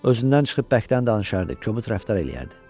Özündən çıxıb bərkdən danışardı, kobud rəftar eləyərdi.